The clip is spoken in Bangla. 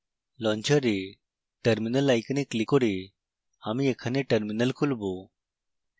launcher terminal icon ক্লিক করে আমি এখানে terminal খুলব